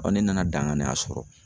ne nana daŋaniya sɔrɔ